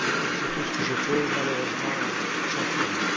C'est tout ce que je peux, malheureusement, confirmer.